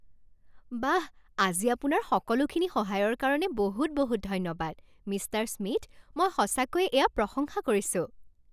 বাহ, আজি আপোনাৰ সকলোখিনি সহায়ৰ কাৰণে বহুত বহুত ধন্যবাদ, মিষ্টাৰ স্মিথ। মই সঁচাকৈয়ে এয়া প্ৰশংসা কৰিছোঁ!